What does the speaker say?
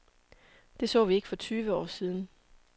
Det så vi ikke for tyve år siden.